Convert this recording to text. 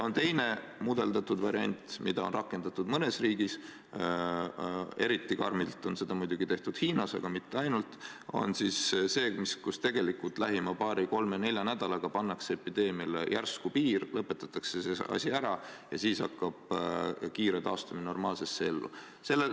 Teine on mudeldatud variant, mida on rakendatud mõnes riigis – eriti karmilt on seda muidugi tehtud Hiinas, aga mitte ainult –, see on see, kui tegelikult paari-kolme-nelja nädalaga pannakse epideemiale järsku piir, lõpetatakse see asi ära ja siis hakkab kiire normaalse elu taastumine.